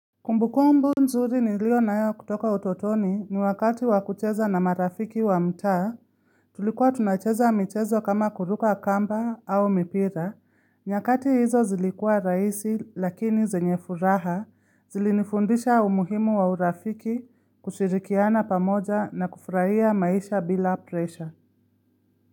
Kumbukumbu nzuri nilio nayo kutoka utotoni ni wakati wa kucheza na marafiki wa mtaa. Tulikuwa tunacheza michezo kama kuruka kamba au mipira. Nyakati hizo zilikua rahisi lakini zenye furaha zilinifundisha umuhimu wa urafiki, kushirikiana pamoja na kufurahia maisha bila presha.